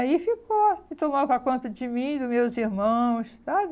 Aí ficou e tomava conta de mim, dos meus irmãos, sabe?